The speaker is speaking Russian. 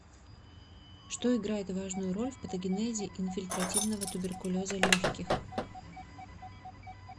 что играет важную роль в патогенезе инфильтративного туберкулеза легких